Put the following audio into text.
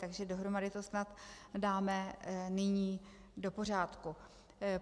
Takže dohromady to snad dáme nyní do pořádku.